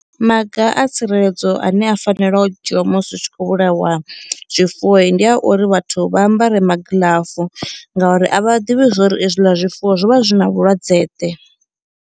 Maga a tsireledzo ane a fanela u dzhia musi hu tshi khou vhulaiwa zwifuwoi ndi a uri vhathu vha ambara magiḽafu ngauri a vha ḓivhi zwori hezwiḽa zwifuwo zwo vha zwi na vhulwadze ḓe.